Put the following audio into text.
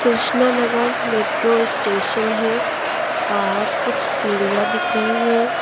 Krishna Nagar metro station है बाहर कुछ सीढ़ियां दिख रही हैं।